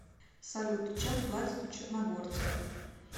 салют чем платят у черногорцев